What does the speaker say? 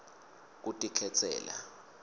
kutikhetsela